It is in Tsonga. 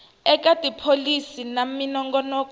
eka tipholisi na minongonoko ya